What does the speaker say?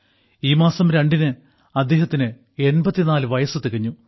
ഈ മാസം രണ്ടിന് അദ്ദേഹത്തിന് 84 വയസ്സ് തികഞ്ഞു